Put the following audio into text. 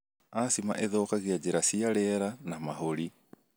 Asthma ĩthũkagia njĩra cia riera na mahũri.